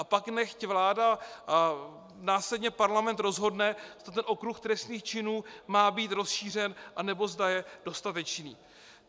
A pak nechť vláda a následně parlament rozhodne, zda ten okruh trestných činů má být rozšířen, anebo zda je dostatečný.